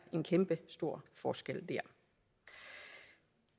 en kæmpestor forskel